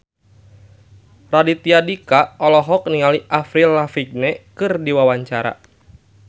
Raditya Dika olohok ningali Avril Lavigne keur diwawancara